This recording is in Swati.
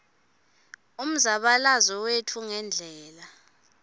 umzabalazo wetfu ngendlela